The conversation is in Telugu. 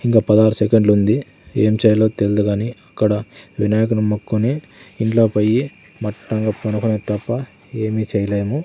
ఇంగా పదారు సెకండ్లుంది ఏం చేయాలో తెల్దు కానీ అక్కడ వినాయకుని ముక్కుని ఇంట్లో పొయ్యి మట్టంగా పొనుకోవడం తప్ప ఏమీ చెయ్ లేను.